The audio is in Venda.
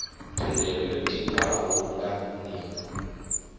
thendelo yo tikwaho nga nivho